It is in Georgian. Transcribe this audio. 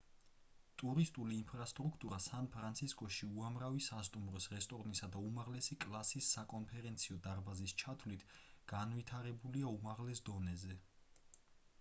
ტურისტული ინფრასტრუქტურა სან-ფრანცისკოში უამრავი სასტუმროს რესტორნსა და უმაღლესი კლასის საკონფერენციო დარბაზის ჩათვლით განვითარებულია უმაღლეს დონეზე